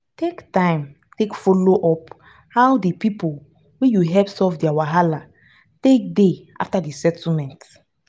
take time take follow up how di pipo wey you help solve their wahala take dey after the settlement